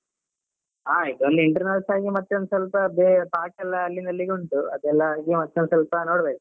ಆ internals ಆಗಿ ಮತ್ತೆ ಒಂದ್ಸ್ವಲ್ಪ ಪಾಠ ಎಲ್ಲ ಅಲ್ಲಿಂದಲ್ಲಿಗೆ ಉಂಟು ಅದೆಲ್ಲ ಇದ್ ಮಾ~ ಸ್ವಲ್ಪ ಸ್ವಲ್ಪ ನೋಡ್ಬೇಕು.